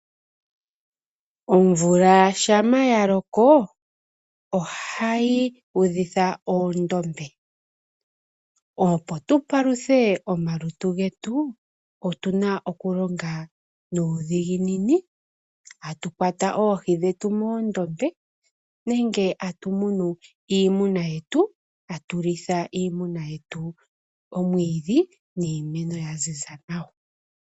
Omvula shampa ya loko ahayi udhitha oondombe. Opo tu paluthe omalutu getu otu na okulonga nuudhiginini tatu kwata oohi dhetu moondombe nenge tatu munu iimuna yetu, tatu litha iimuna yetu omwiidhi niimeno ya ziza nawa.